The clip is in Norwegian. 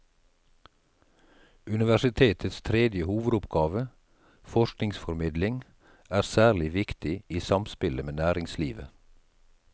Universitetets tredje hovedoppgave, forskningsformidling, er særlig viktig i samspillet med næringslivet.